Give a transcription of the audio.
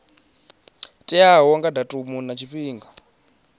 teaho nga datumu na tshifhinga